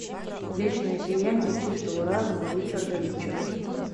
вечное сияние чистого разума ричарда рича